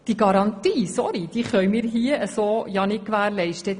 Diese Garantie – sorry! – können wir so nicht gewährleisten.